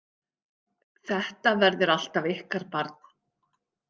Þetta verður alltaf ykkar barn.